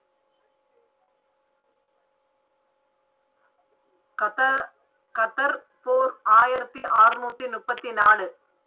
கத கத்தர் போர் ஆயிரத்தி ஆறநூற்றி முப்பத்தி நாலு.